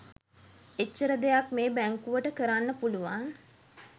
එච්චර දෙයක් මේ බැංකුවට කරන්න පුළුවන්